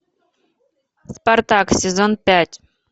спартак сезон пять